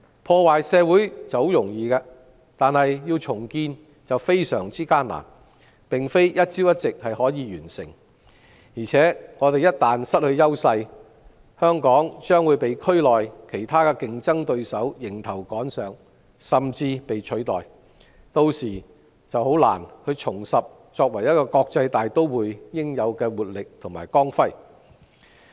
破壞社會相當容易，但要重建便非常艱難，並非一朝一夕可以完成，而且香港一旦失去優勢，將會被區內其他競爭對手迎頭趕上，甚至被取代，屆時便難以重拾作為一個國際大都會應有的活力和光輝。